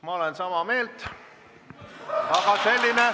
Ma olen sama meelt.